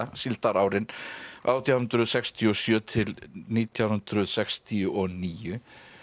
síldarárin átján hundruð sextíu og sjö til nítján hundruð sextíu og níu